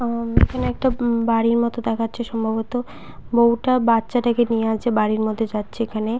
অ-অম এইখানে একটা উম বাড়ির মতো দেখাচ্ছে সম্ভবত বউটা বাচ্চাটাকে নিয়ে আছে বাড়ির মধ্যে যাচ্ছে এইখানে।